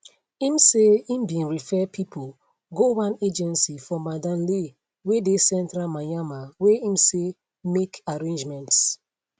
im say im bin refer pipo go one agency for mandalay wey dey central myanmar wey im say make arrangements